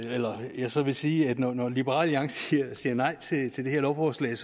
er så vil sige at når når liberal alliance siger siger nej til til det her lovforslag